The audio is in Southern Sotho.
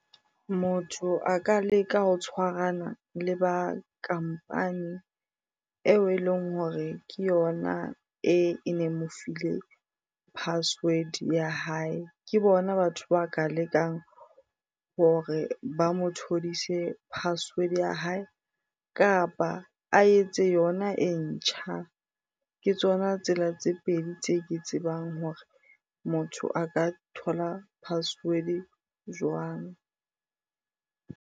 Motho a ka leka ho tshwarana le ba kampani eo e leng hore ke yona ene mo file password ya hae. Ke bona batho ba ka lekang hore ba mothodise password-e ya hae kapa a etse yona e ntjha. Ke tsona tsela tse pedi tse ke tsebang hore motho a ka thola password-e jwang.